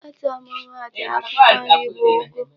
Otu ọmụma atụ akwụkwọ nri bụ ụgụ.